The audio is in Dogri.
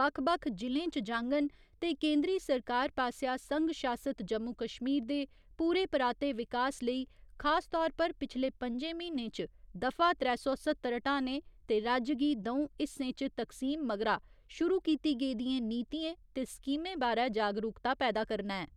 बक्ख बक्ख जि'लें च जाङन ते केंदरी सरकार पास्सेआ संघ शासित जम्मू कश्मीर दे पूरे पराते विकास लेई खास तौर पर पिछले पं'जें म्हीनें च दफा त्रै सौ स्हत्तर ह्टाने ते राज्य गी द'ऊं हिस्सें च तकसीम मगरा शुरू कीती गेदियें नीतिएं ते स्कीमें बारै जागरूकता पैदा करना ऐ।